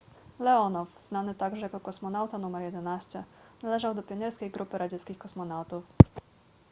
leonow znany także jako kosmonauta nr 11 należał do pionierskiej grupy radzieckich kosmonautów